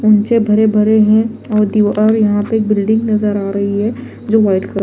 ऊंचे भरे भरे है और दीवा और यहा पे बिल्डिंग नजर आ रही है जो व्हाइट कलर --